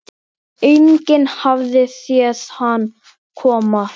Enginn hafði séð hann koma.